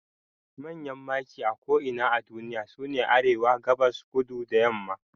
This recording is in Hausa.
Manyan maki a ko'ina a duniya sune Arewa, Gabas, Kudu da yamma